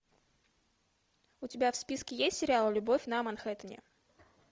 у тебя в списке есть сериал любовь на манхэттене